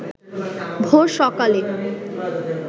ভোর সকালে